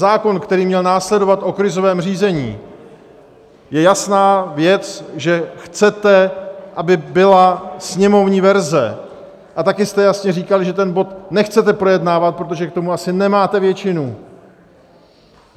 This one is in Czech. Zákon, který měl následovat, o krizovém řízení, je jasná věc, že chcete, aby byla sněmovní verze, a taky jste jasně říkali, že ten bod nechcete projednávat, protože k tomu asi nemáte většinu.